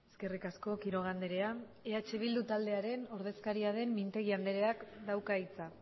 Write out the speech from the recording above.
eskerrik asko quiroga andrea eh bildu taldearen ordezkaria den mintegi andreak dauka hitza